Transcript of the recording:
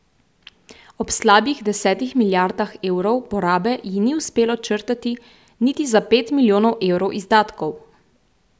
Ob slabih desetih milijardah evrov porabe ji ni uspelo črtati niti za pet milijonov evrov izdatkov!